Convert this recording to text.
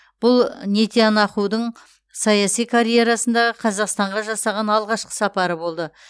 бұл нетянахудың саяси карьерасындағы қазақстанға жасаған алғашқы сапары болды